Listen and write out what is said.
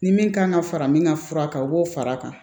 Ni min kan ka fara min ka fura kan o b'o fara a kan